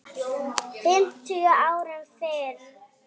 fimmtíu árum fyrr.